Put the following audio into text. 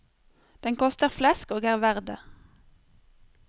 Den koster flesk og er verd det.